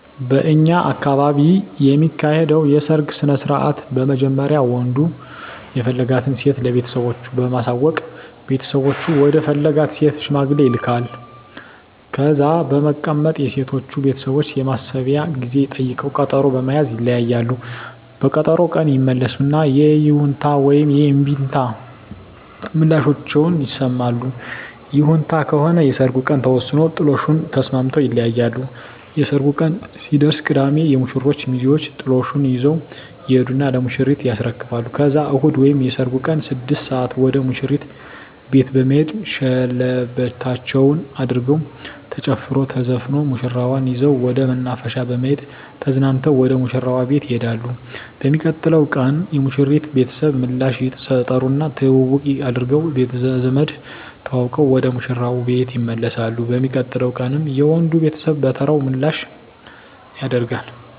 በእኛ አካባቢ የሚካሄደዉ የሰርግ ስነስርአት በመጀመሪያ ወንዱ የፈለጋትን ሴት ለቤተሰቦቹ በማሳወቅ ቤተሰቦቹ ወደ ፈለጋት ሴት ሽማግሌ ይላካል። ከዛ በመቀጠል የሴቶቹ ቤተሰቦች የማሰቢያ ጊዜ ጠይቀዉ ቀጠሮ በመያዝ ይለያያሉ። በቀጠሮዉ ቀን ይመለሱና የይሁንታ ወይም የእምቢታ ምላሻቸዉን ይሰማሉ። ይሁንታ ከሆነ የሰርጉ ቀን ተወስኖ ጥሎሹን ተስማምተዉ ይለያያሉ። የሰርጉ ቀን ሲደርስ ቅዳሜ የሙሽሮቹ ሚዜወች ጥሎሹን ይዘዉ ይሄዱና ለሙሽሪት ያስረክባሉ ከዛም እሁድ ወይም የሰርጉ ቀን 6 ሰአት ወደ ሙሽሪት ቤት በመሄድ ሸለበታቸዉን አድርገዉ ተጨፍሮ ተዘፍኖ ሙሽራዋን ይዘዉ ወደ መናፈሻ በመሄድ ተዝናንተዉ ወደ ሙሽራዉ ቤት ይሄዳሉ። በሚቀጥለዉ ቀን የሙሽሪት ቤተሰብ ምላሽ ይጠሩና ትዉዉቅ አድርገዉ ቤተዘመድ ተዋዉቀዉ ወደ ሙሽራዉ ቤት ይመለሳሉ። በሚቀጥለዉ ቀንም የወንዱ ቤተሰብ በተራዉ ምላሽ ያደ